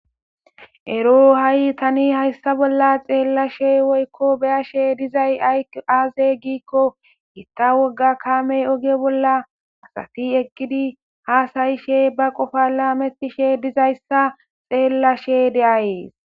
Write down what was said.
ero ha7i tani hayssa bolla xeellashe woykko beyashe dizay aaze giikko gitta wogga kaamey oge bolla asati egidi hasayishe ba qofa laametishe dizayssa xeellashe de'ays